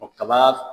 Kaba